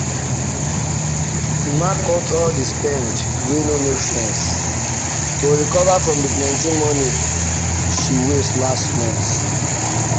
emma cut all the spend wey no make sense to recover from the plenty money she waste last month.